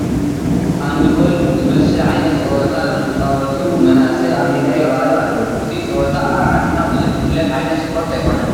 ሃንድ ቦል ዝመስል ዓይነት ፀወታ ዝፃወቱ መናእሰይ ኣብ ሜዳ ይርአዩ ኣለዉ፡፡ እዚ ፀወታ ኣብ ዓድና ብዙሕ ዝፍለጥ ዓይነት ስፖርቲ ኣይኮነነ፡፡